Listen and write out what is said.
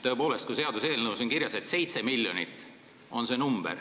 Tõepoolest, seaduseelnõus on kirjas, et 7 miljonit on see summa.